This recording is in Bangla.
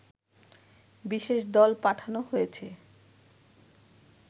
বিশেষ দল পাঠানো হয়েছে